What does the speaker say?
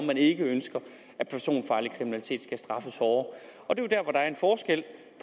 man ikke ønsker at personfarlig kriminalitet skal straffes hårdere